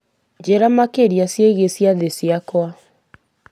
njĩra makĩria ciĩgiĩ ciathĩ ciakwa